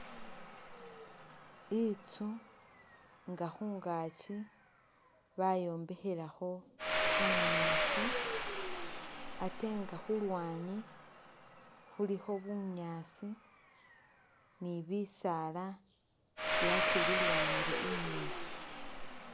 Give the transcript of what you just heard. Intsu nga khungakyi bayombekhelakho bunyaasi atenga khulwanyi khulikho bunyasi ni bisaala byakyililwanile inyuma.